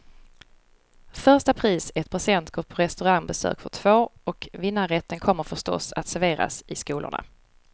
Första pris är ett presentkort på restaurangbesök för två, och vinnarrätten kommer förstås att serveras i skolorna.